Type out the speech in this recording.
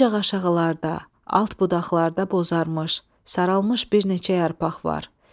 Ancaq aşağılarda, alt budaqlarda bozarmış, saralmış bir neçə yarpaq var.